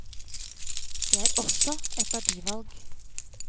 Det er også et verdivalg.